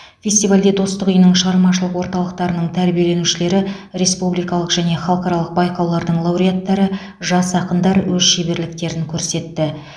фестивальде достық үйінің шығармашылық орталықтарының тәрбиеленушілері республикалық және халықаралық байқаулардың лауреаттары жас ақындар өз шеберліктерін көрсетті